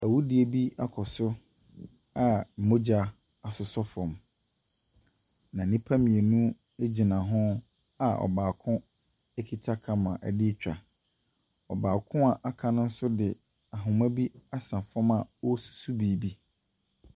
Awudie bi akɔ so a mogya asosɔ fam. Na nnipa mmienu egyina ho a ɔbaako kita camera ɛretwa. Ɔbaako a waka no nso de ahomma bi asɛ fam a ɔresusu biribi.